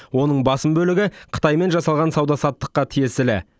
оның басым бөлігі қытаймен жасалған сауда саттыққа тиесілі